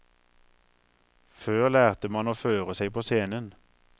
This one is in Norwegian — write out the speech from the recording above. Før lærte man å føre seg på scenen.